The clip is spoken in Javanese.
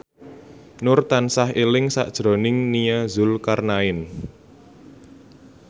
Nur tansah eling sakjroning Nia Zulkarnaen